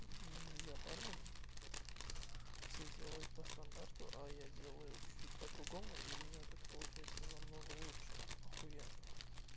я барон все делают по стандарту а я делаю чуть-чуть по-другому и у меня это получается намного лучше охуенно